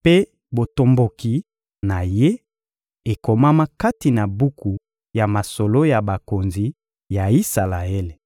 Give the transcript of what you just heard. mpe botomboki na ye, ekomama kati na buku ya masolo ya bakonzi ya Isalaele.